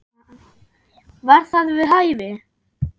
Var það við hæfi?